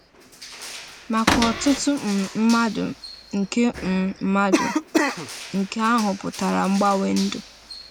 Maka ọtụtụ um mmadụ, nke um mmadụ, nke ahụ pụtara mgbanwe ndụ.